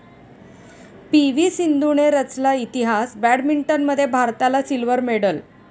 पी.व्ही.सिंधूने रचला इतिहास, बॅडमिंटनमध्ये भारताला सिल्व्हर मेडल